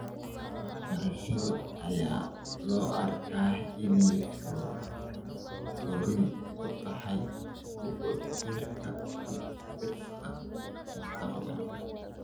Waxbarashada ayaa loo arkaa inay fure u tahay dib u dhiska mustaqbalka .